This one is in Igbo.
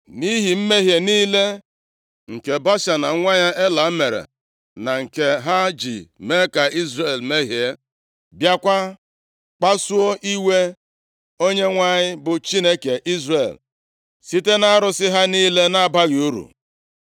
Nʼihi mmehie niile nke Baasha na nwa ya Ela mere, na nke ha ji mee ka Izrel mehie, bịakwa kpasuo iwe Onyenwe anyị bụ Chineke Izrel, site nʼarụsị ha niile na-abaghị uru.